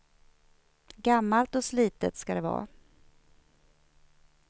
Gammalt och slitet ska det vara.